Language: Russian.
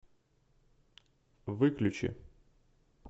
выключи